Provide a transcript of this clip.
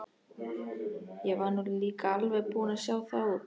Ég var nú líka alveg búinn að sjá það út.